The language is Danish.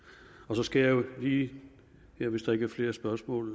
jeg skal lige hvis der ikke er flere spørgsmål